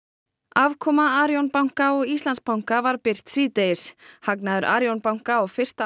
afkoma Arion banka og Íslandsbanka var birt síðdegis hagnaður Arion banka á fyrsta